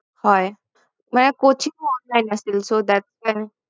হয় মানে coaching ও online আছিল so that time